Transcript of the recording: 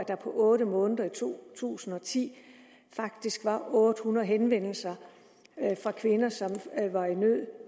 der på otte måneder i to tusind og ti faktisk var otte hundrede henvendelser fra kvinder som var i nød